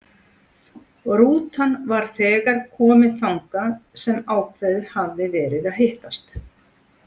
Rútan var þegar komin þangað sem ákveðið hafði verið að hittast.